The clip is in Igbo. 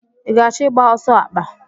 I ga-achọ ịgba ọsọ akpa?